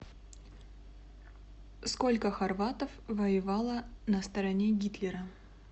сколько хорватов воевало на стороне гитлера